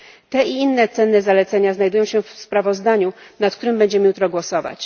Te i inne cenne zalecenia znajdują się w sprawozdaniu, nad którym będziemy jutro głosować.